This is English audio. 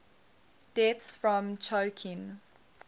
deaths from choking